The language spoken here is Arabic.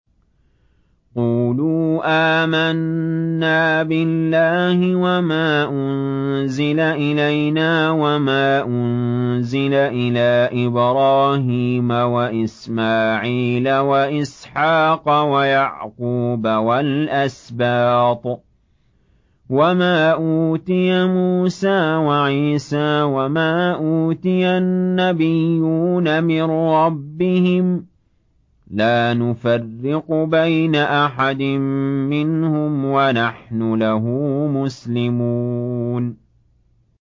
قُولُوا آمَنَّا بِاللَّهِ وَمَا أُنزِلَ إِلَيْنَا وَمَا أُنزِلَ إِلَىٰ إِبْرَاهِيمَ وَإِسْمَاعِيلَ وَإِسْحَاقَ وَيَعْقُوبَ وَالْأَسْبَاطِ وَمَا أُوتِيَ مُوسَىٰ وَعِيسَىٰ وَمَا أُوتِيَ النَّبِيُّونَ مِن رَّبِّهِمْ لَا نُفَرِّقُ بَيْنَ أَحَدٍ مِّنْهُمْ وَنَحْنُ لَهُ مُسْلِمُونَ